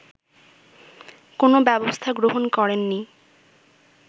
কোনো ব্যবস্থা গ্রহণ করেননি